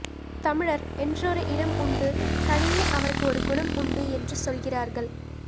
தமிழர் என்றொரு இனம் உண்டு தனியே அவருக்கு ஒரு குணம் உண்டு என்று சொல்கிறார்கள்